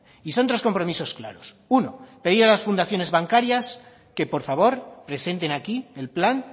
y son tres compromisos claros uno pedir a las fundaciones bancarias que por favor presenten aquí el plan